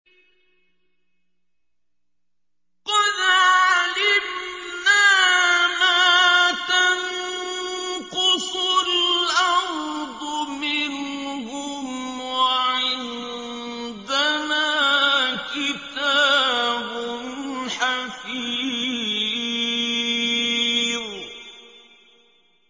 قَدْ عَلِمْنَا مَا تَنقُصُ الْأَرْضُ مِنْهُمْ ۖ وَعِندَنَا كِتَابٌ حَفِيظٌ